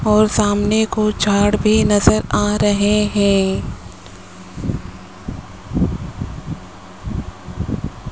और सामने कुछ झाड़ भी नजर आ रहे हैं।